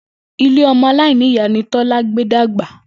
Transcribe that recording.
Ilé o̩mo̩-aláìníyàá ni Tó̩lá gbé dàgbà